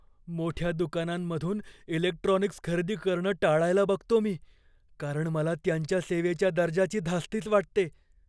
मोठ्या दुकानांमधून इलेक्ट्रॉनिक्स खरेदी करणं टाळायला बघतो मी, कारण मला त्यांच्या सेवेच्या दर्जाची धास्तीच वाटते.